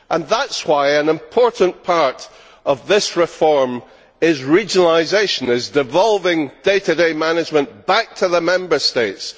That is why an important part of this reform is regionalisation, devolving day to day management back to the Member States.